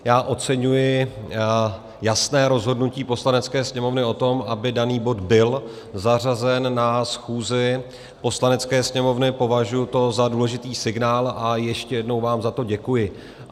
Já oceňuji jasné rozhodnutí Poslanecké sněmovny o tom, aby daný bod byl zařazen na schůzi Poslanecké sněmovny, považuji to za důležitý signál a ještě jednou vám za to děkuji.